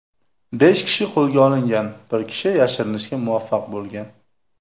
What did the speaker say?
Besh kishi qo‘lga olingan, bir kishi yashirinishga muvaffaq bo‘lgan.